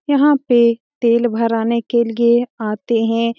यहाँ पे तेल भराने के लिए आते हैं ।